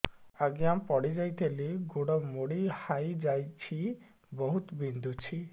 ଆଜ୍ଞା ପଡିଯାଇଥିଲି ଗୋଡ଼ ମୋଡ଼ି ହାଇଯାଇଛି ବହୁତ ବିନ୍ଧୁଛି